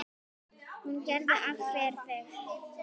Hún gerði allt fyrir þig.